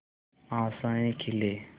आशाएं खिले